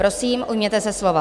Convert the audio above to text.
Prosím, ujměte se slova.